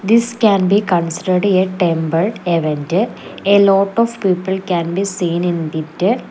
this can be considered a tembered event a lot of people can be seen in it.